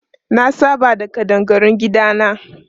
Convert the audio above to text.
Na saba da ƙadangarun gidana.